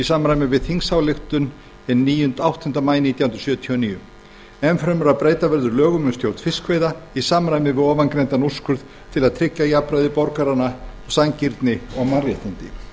samræmi við þingsályktun hinn áttunda maí nítján hundruð sjötíu og níu enn fremur að breyta verður lögum um stjórn fiskveiða í samræmi við fyrrgreindan úrskurð til að tryggja jafnræði borgaranna sanngirni og mannréttindi